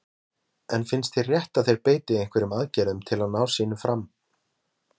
Hugrún: En finnst þér rétt að þeir beiti einhverjum aðgerðum til að ná sínu fram?